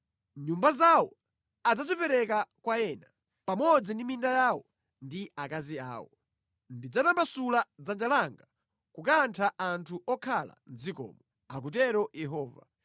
Nyumba zawo adzazipereka kwa ena, pamodzi ndi minda yawo ndi akazi awo. Ndidzatambasula dzanja langa kukantha anthu okhala mʼdzikomo,” akutero Yehova.